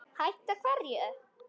Hætta hverju?